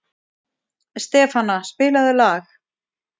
Stefana, spilaðu lag.